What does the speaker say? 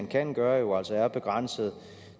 man kan gøre jo altså er begrænset